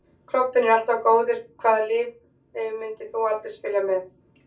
Klobbinn er alltaf góður Hvaða liði myndir þú aldrei spila með?